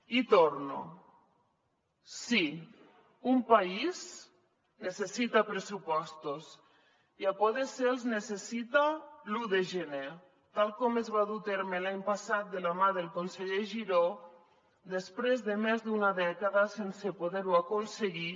hi torno sí un país necessita pressupostos i si pot ser els necessita l’un de gener tal com es va dur a terme l’any passat de la mà del conseller giró després de més d’una dècada sense poder ho aconseguir